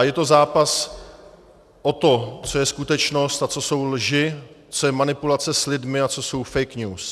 A je to zápas o to, co je skutečnost a co jsou lži, co je manipulace s lidmi a co jsou fake news.